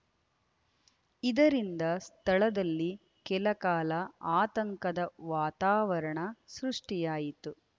ಇದರಿಂದ ಸ್ಥಳದಲ್ಲಿ ಕೆಲ ಕಾಲ ಆತಂಕದ ವಾತಾವರಣ ಸೃಷ್ಟಿಯಾಯಿತು